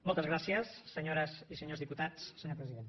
moltes gràcies senyores i senyors diputats senyor president